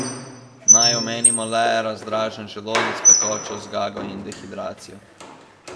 Naj omenimo le razdražen želodec, pekočo zgago in dehidracijo.